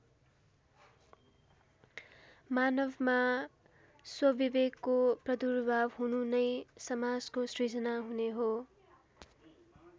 मानवमा स्वविवेकको प्रदुर्भाव हुनु नै समाजको सृजना हुने हो।